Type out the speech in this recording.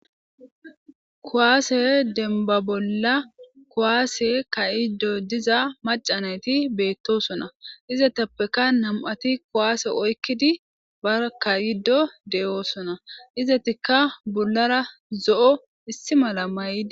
kuwaase demba bolla kowaase kayiddo diza macanayti beettosona izetappeka nam7ati kowaase oykkidi bakayiddo de7oosona izetikka bollara zo7o issi mala may7idi